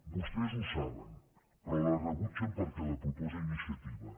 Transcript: vostès ho saben però la rebutgen perquè la proposa iniciativa